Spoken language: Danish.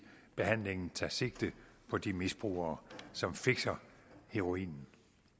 behandlingen tager sigte på de misbrugere som fixer heroinen